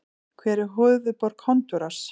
Hver er höfuðborg Honduras?